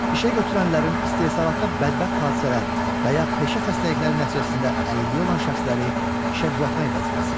İşəgötürənlərin istehsalatda bədbəxt hadisələr və ya peşə xəstəlikləri nəticəsində əlilliyi olan şəxsləri işə düzəltmək vəzifəsi.